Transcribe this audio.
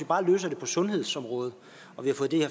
bare løser det på sundhedsområdet og vi har fået